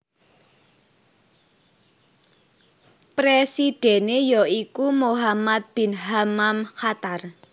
Presidhèné ya iku Mohammed bin Hammam Qatar